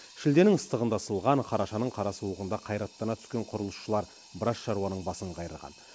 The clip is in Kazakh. шілденің ыстығында ысылған қарашаның қара суығында қайраттана түскен құрылысшылар біраз шаруаның басын қайырған